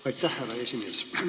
Aitäh, härra esimees!